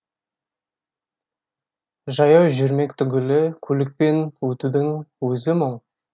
жаяу жүрмек түгілі көлікпен өтудің өзі мұң